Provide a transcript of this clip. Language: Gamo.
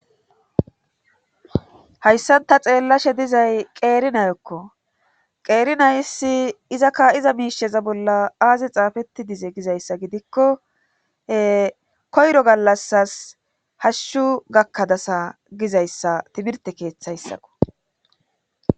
hayssan ta xeellashe dizay qeeri nayokko qeerinayssi izakka iza miisheza bolla aazi xaafetti dize gizayssa gidikko koyro gallasas hashshu gakkadasa gizayssa timirte keeththayssako